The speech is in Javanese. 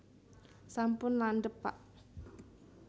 sampun landhep pak